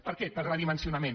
per què pel redimensionament